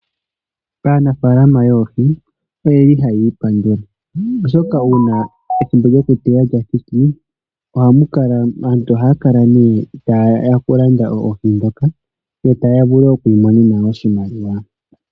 Aanafalama yohi oyeli haya ipandula, oshoka una ethimbo lyoku teya lya thiki, aantu ohaya kala ne ta yeya oku landa oohi dhoka, yo taya vulu oku imonena oshimaliwa.